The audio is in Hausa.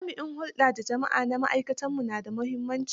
Jami'in hulɗa da jama'a na ma'aikatu na da muhimmanci.